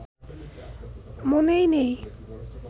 মনে নেই